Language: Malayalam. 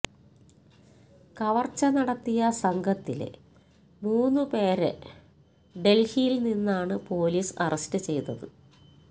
കവര്ച്ച നടത്തിയ സംഘത്തിലെ മൂന്നുപേരെ ഡല്ഹിയില്നിന്നാണ് പോലീസ് അറസ്റ്റു ചെയ്തത്